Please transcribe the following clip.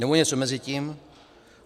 Nebo něco mezi tím?